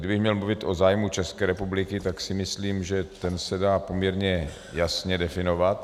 Kdybych měl mluvit o zájmu České republiky, tak si myslím, že ten se dá poměrně jasně definovat.